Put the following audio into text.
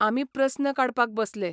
आमी प्रस्न काडपाक बसले.